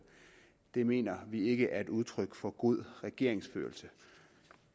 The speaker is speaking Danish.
det mener vi ikke er udtryk for god regeringsførelse